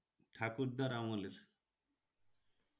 ঠাকুরদার আমলের।